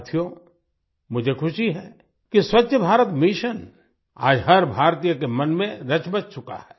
साथियो मुझे खुशी है कि स्वच्छ भारत मिशन आज हर भारतीय के मन में रचबस चुका है